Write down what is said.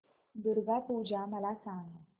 दुर्गा पूजा मला सांग